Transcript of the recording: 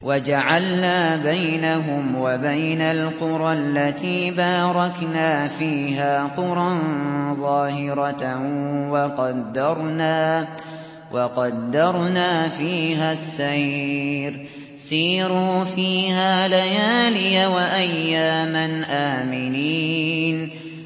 وَجَعَلْنَا بَيْنَهُمْ وَبَيْنَ الْقُرَى الَّتِي بَارَكْنَا فِيهَا قُرًى ظَاهِرَةً وَقَدَّرْنَا فِيهَا السَّيْرَ ۖ سِيرُوا فِيهَا لَيَالِيَ وَأَيَّامًا آمِنِينَ